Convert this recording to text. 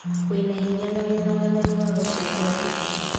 Wĩna hinya na wĩna wathani wa gũcenjia thĩ.